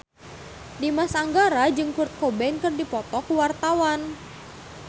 Dimas Anggara jeung Kurt Cobain keur dipoto ku wartawan